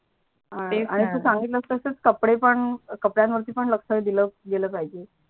कंपड्या वरती पण लक्ष दिल पहिजे